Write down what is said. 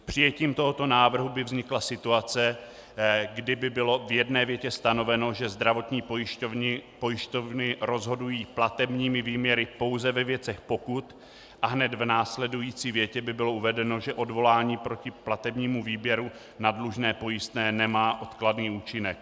Přijetím tohoto návrhu by vznikla situace, kdy by bylo v jedné větě stanoveno, že zdravotní pojišťovny rozhodují platebními výměry pouze ve věcech pokut, a hned v následující větě by bylo uvedeno, že odvolání proti platebnímu výměru na dlužné pojistné nemá odkladný účinek.